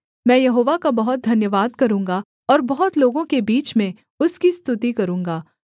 मैं यहोवा का बहुत धन्यवाद करूँगा और बहुत लोगों के बीच में उसकी स्तुति करूँगा